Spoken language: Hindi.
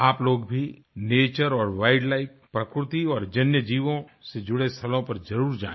आप लोग भी नेचर और वाइल्ड लाइफ प्रकृति और जन्यजीवों से जुड़े स्थलों पर जरुर जाएं